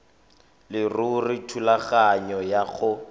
leruri thulaganyo ya go